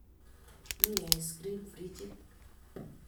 Mie ice cream frijit